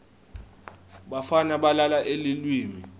bafana balala eleiwini